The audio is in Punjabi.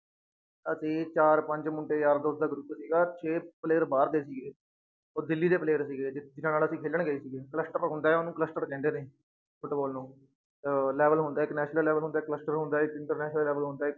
ਅਸੀਂ ਚਾਰ ਪੰਜ ਮੁੰਡੇ ਯਾਰ ਦੋਸਤ ਦਾ group ਸੀਗਾ ਛੇ player ਬਾਹਰ ਦੇ ਸੀਗੇ ਔਰ ਦਿੱਲੀ ਦੇ player ਸੀਗੇ ਜਿਹਨਾਂ ਨਾਲ ਅਸੀਂ ਖੇਲਣ ਗਏ ਸੀਗੇ cluster ਹੁੰਦਾ ਹੈ ਉਹਨੂੰ clustered ਕਹਿੰਦੇ ਨੇ ਫੁਟਬਾਲ ਨੂੰ ਅਹ level ਹੁੰਦਾ ਹੈ ਇੱਕ national level ਹੁੰਦਾ ਹੈ cluster ਹੁੰਦਾ ਹੈ ਇੱਕ international level ਹੁੰਦਾ ਹੈ,